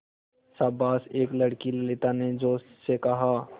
शाबाश एक लड़की ललिता ने जोश से कहा